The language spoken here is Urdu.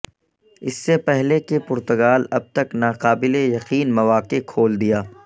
اس سے پہلے کہ پرتگال اب تک ناقابل یقین مواقع کھول دیا